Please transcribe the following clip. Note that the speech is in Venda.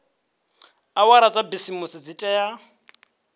awara dza bisimisi dzi tea